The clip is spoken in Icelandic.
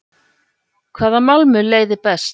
Hvaða málmur leiðir best?